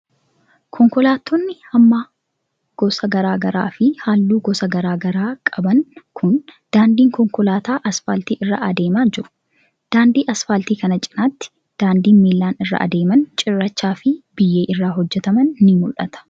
Konkolaatonni hamma gosa garaa garaa fi haalluu gosa garaa garaa qaban kun, daandii konkolaataa asfaaltii irra adeemaa jiru. Daandii asfaaltii kana cinaatti, daandiin miilan irra adeeman cirracha fi biyyee irraa hojjataman ni mul'ata.